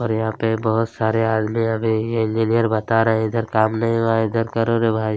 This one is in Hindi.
और यहाँ पर बहुत सारे आदमी हमें ये इंजीनियर बता रहे है इधर काम नहीं हुआ है इधर करो रे भाई --